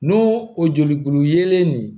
N'o o jolikulu yelen de ye